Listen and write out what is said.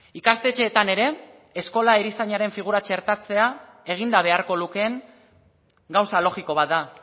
ikastetxeetan ere eskola erizainaren figura txertatzea eginda beharko lukeen gauza logiko bat da